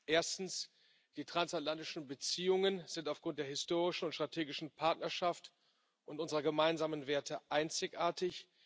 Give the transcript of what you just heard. Erstens Die transatlantischen Beziehungen sind aufgrund der historischen und strategischen Partnerschaft und unserer gemeinsamen Werte einzigartig.